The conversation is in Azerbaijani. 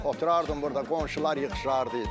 Oturardın burda qonşular yığışardı.